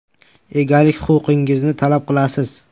Egalik huquqingizni talab qilasiz.